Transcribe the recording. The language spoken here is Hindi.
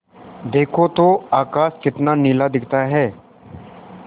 देखो तो आकाश कितना नीला दिखता है